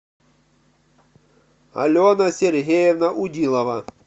алена сергеевна удилова